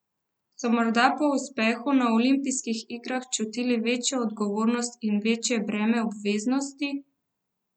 So morda po uspehu na olimpijskih igrah čutili večjo odgovornost in večje breme obveznosti?